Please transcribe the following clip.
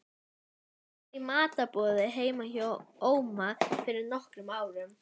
Það var í matarboði heima hjá Óma fyrir nokkrum árum.